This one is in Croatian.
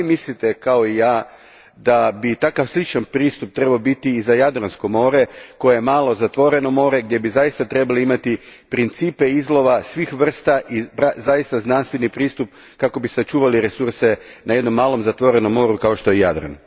Da li mislite, kao i ja, da bi takav sličan pristup trebao biti i za Jadransko more, koje je malo, zatvoreno more, gdje bi zaista trebali imati principe izlova svih vrsta i zaista znanstveni pristup kako bi sačuvali resurse na jednom malom zatvorenom moru kao što je Jadran?